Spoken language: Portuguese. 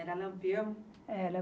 Era Lampião? Era